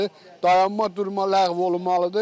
Dayanma-durma ləğv olunmalıdır.